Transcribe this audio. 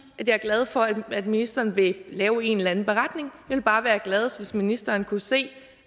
at jeg er glad for at ministeren vil lave en eller anden beretning ville bare være gladest hvis ministeren kunne se